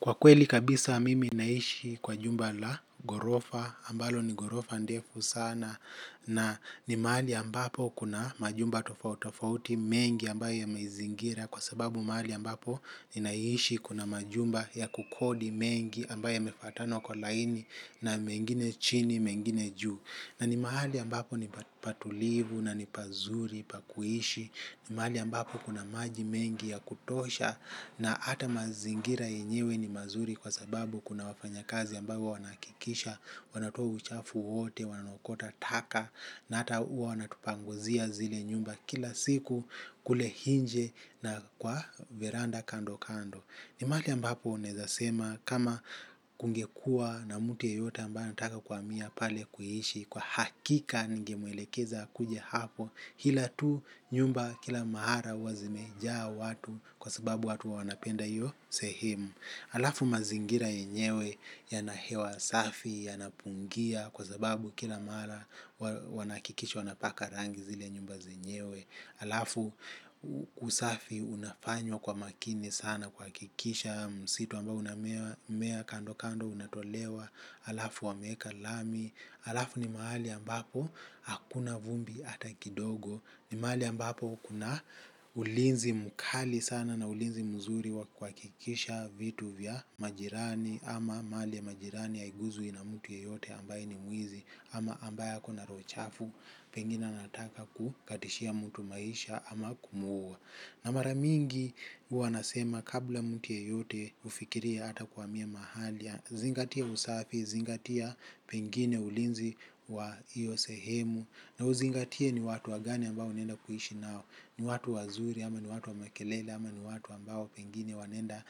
Kwa kweli kabisa mimi naishi kwa jumba la ghorofa ambalo ni ghorofa ndefu sana na ni mahali ambapo kuna majumba tofauti tofauti mengi ambayo yameizingira kwa sababu mahali ambapo ninaishi kuna majumba ya kukodi mengi ambayo yamefuatana kwa laini na mengine chini mengine juu. Na ni mahali ambapo ni patulivu na ni pazuri pa kuishi, ni mahali ambapo kuna maji mengi ya kutosha na hata mazingira yenyewe ni mazuri kwa sababu kuna wafanya kazi ambao huwa wanahakikisha, wanatoa uchafu huo wote, wanaokota taka na hata huwa wanatupanguzia zile nyumba kila siku kule nje na kwa veranda kando kando. Ni mahali ambapo uneza sema kama kungekuwa na mti yeyota ambaye anataka kuhamia pale kuishi kwa hakika ningemuelekeza kuja hapo ila tu nyumba kila mara huwa zimejaa watu kwa sababu watu huwa wanapenda hiyo sehemu. Halafu mazingira yenyewe yana hewa safi, yanapungia kwa sababu kila mara wanahakikisha wanapaka rangi zile nyumba zenyewe halafu usafi unafanywa kwa makini sana kuhakikisha msitu ambao unamea kando kando unatolewa halafu wameeka lami, halafu ni mahali ambapo hakuna vumbi ata kidogo. Ni mali ambapo kuna ulinzi mkali sana na ulinzi mzuri wa kuhakikisha vitu vya majirani ama mali ya majirani haiguzwi na mtu yeyote ambaye ni mwizi ama ambaye ako na roho chafu pengine anataka kukatishia mtu maisha ama kumwua. Na maramingi huwa nasema kabla mtu yeyote kufikiria hata kuhamia mahali. Zingatia usafi, zingatia pengine ulinzi wa hiyo sehemu. Na uzingatie ni watu wagani ambao unaenda kuishi nao. Ni watu wazuri ama ni watu wa makelele ama ni watu ambao pengine wanenda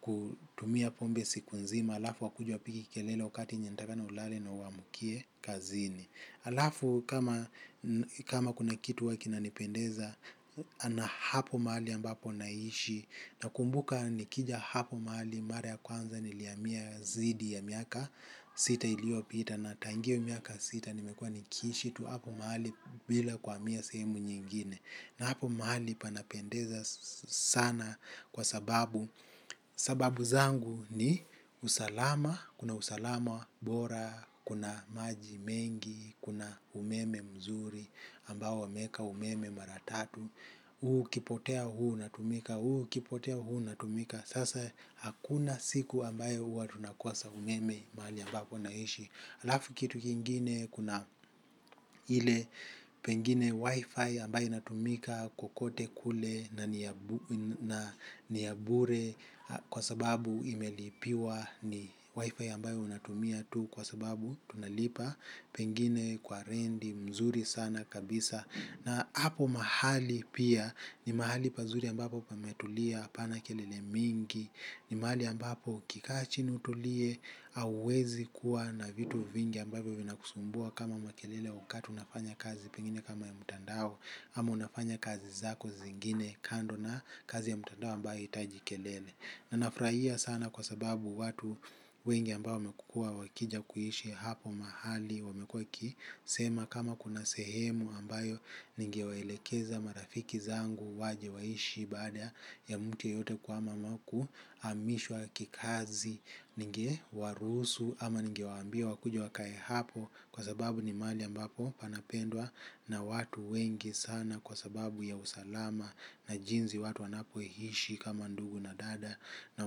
kutumia pombe siku nzima halafu wakuje wapige kelele wakati nye unatakikana ulale na uamukie kazini. Alafu kama kuna kitu huwa kinanipendeza na hapo mahali ambapo naishi. Nakumbuka nikija hapo mahali mara ya kwanza nilihamia zaidi ya miaka sita iliyopita na tangu hiyo miaka sita nimekua niikishi tu hapo mahali bila kuhamia sehemu nyingine na hapo mahali panapendeza sana kwa sababu sababu zangu ni usalama, kuna usalama bora, kuna maji mengi, kuna umeme mzuri ambao wameka umeme mara tatu, huu ukipotea huu unatumika, huu ukipotea huu unatumika. Sasa hakuna siku ambayo huwa tunakosa umeme mahali ambapo naishi halafu kitu kingine kuna ile pengine wifi ambayo inatumika kokote kule na ni ya bure kwa sababu imelipiwa ni wifi ambayo unatumia tu kwa sababu tunalipa pengine kwa renti mzuri sana kabisa. Na hapo mahali pia ni mahali pazuri ambapo pametulia hapana kelele mingi. Ni mahali ambapo ukikaa chini utulie. Hauwezi kuwa na vitu vingi ambavyo vinakusumbua kama makelele wakati unafanya kazi pengine kama ya mtandao ama unafanya kazi zako zingine kando na kazi ya mtandao ambayo haihitaji kelele. Na nafurahia sana kwa sababu watu wengi ambao wamekuwa wakija kuishi hapo mahali wamekuwa wakisema kama kuna sehemu ambayo ningewaelekeza marafiki zangu waje waishi baada ya mtu yoyote kuhama ama kuhamishwa kikazi ningewaruhusu ama ningewaambia wakuje wakae hapo kwa sababu ni mahali ambapo panapendwa na watu wengi sana kwa sababu ya usalama na jinsi watu wanapoishi kama ndugu na dada na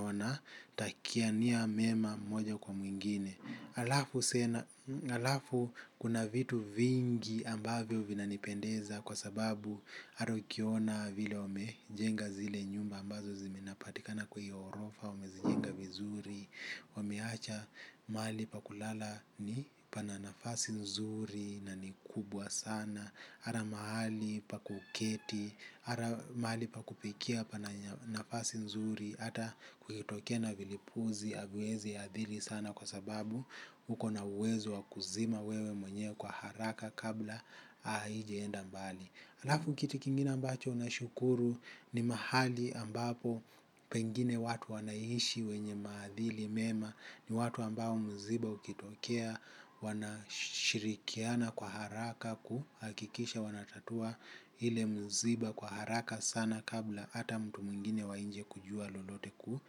wana takiania mema moja kwa mwingine. Haafu kuna vitu vingi ambavyo vinanipendeza kwa sababu hata ukiona vile wamejenga zile nyumba ambazo zinapatika na kwa hiyo ghorofa, wamezijenga vizuri, wameacha mahali pa kulala ni pana nafasi nzuri na ni kubwa sana. Hata mahali pa kuketi, hata mahali pa kupikia pana nafasi nzuri, hata kukitokea na vilipuzi haviwezi athiri sana kwa sababu ukona uwezo wa kuzima wewe mwenyewe kwa haraka kabla haijaenda mbali halafu kitu kingine ambacho nashukuru ni mahali ambapo pengine watu wanaishi wenye maadili mema. Ni watu ambao mziba ukitokea wanashirikiana kwa haraka kuhakikisha wanatatua ile mziba kwa haraka sana kabla ata mtu mwingine wa nje kujua lolote ku.